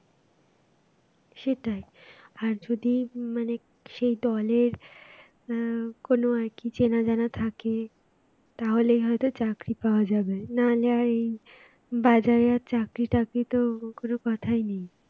সেটাই আর যদি মানে সেই দলের আহ কোন আর কি চেনা জানা থাকে তাহলে হয়তো চাকরি পাওয়া যাবে না হলে আর এই বাজারে আর চাকরি টাকরি তো কোন কথাই নেই